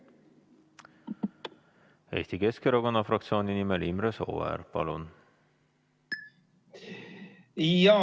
Eesti Keskerakonna fraktsiooni nimel Imre Sooäär, palun!